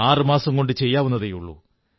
ആറുമാസം കൊണ്ട് ചെയ്യാവുന്നതേയുള്ളൂ